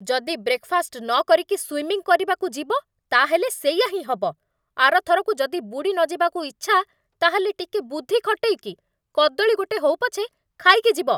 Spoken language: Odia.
ଯଦି ବ୍ରେକଫାଷ୍ଟ ନକରିକି ସ୍ଵିମିଂ କରିବାକୁ ଯିବ, ତା'ହେଲେ ସେଇଆ ହିଁ ହବ । ଆର ଥରକୁ ଯଦି ବୁଡ଼ିନଯିବାକୁ ଇଚ୍ଛା, ତା'ହେଲେ, ଟିକେ ବୁଦ୍ଧି ଖଟେଇକି କଦଳୀ ଗୋଟେ ହଉ ପଛେ ଖାଇକି ଯିବ ।